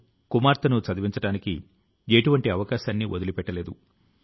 కాలక్రమేణా విట్ఠలాచార్య గారు అధ్యాపకుడు అయ్యారు